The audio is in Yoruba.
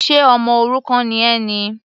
Ṣe ọmọ òrukàn ni ẹ ni?